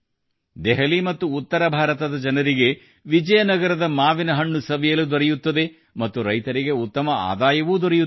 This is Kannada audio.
ದೆಹಲಿ ಮತ್ತು ಉತ್ತರ ಭಾರತದ ಜನರಿಗೆ ವಿಜಯನಗರದ ಮಾವಿನ ಹಣ್ಣು ಸವಿಯಲು ದೊರೆಯುತ್ತದೆ ಮತ್ತು ರೈತರಿಗೆ ಉತ್ತಮ ಆದಾಯವೂ ದೊರೆಯುತ್ತದೆ